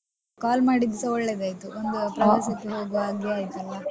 Call ಮಾಡಿದ್ದು ಸ ಒಳ್ಳೇದಾಯ್ತು ಒಂದು ಪ್ರವಾಸಕ್ಕೆ ಹೋಗುವ ಹಾಗೆ ಆಯ್ತು.